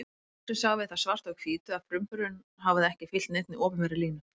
Loksins sáum við það svart á hvítu að frumburðurinn hafði ekki fylgt neinni opinberri línu.